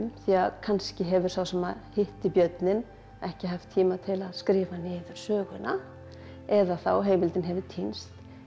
því að kannski hefur sá sem að hitti björninn ekki haft tíma til að skrifa niður söguna eða þá að heimildin hefur týnst